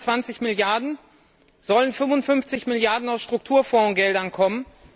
Von den 120 Milliarden Euro sollen 55 Milliarden aus Strukturfondsgeldern kommen.